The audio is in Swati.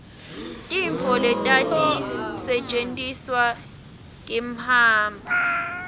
tintfo letati setjentiselwa kimhamba